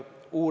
Aitäh!